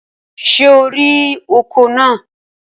Ṣé o rí ọkọ̀ náà?